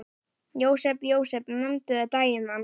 Jósep, Jósep, nefndu daginn þann.